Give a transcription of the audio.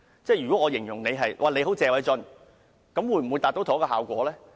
舉例而言，如形容你"很謝偉俊"，會否達致同一效果呢？